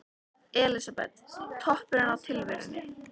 Elísabet: Toppurinn á tilverunni?